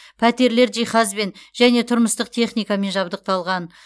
пәтерлер жиһазбен және тұрмыстық техникамен жабдықталған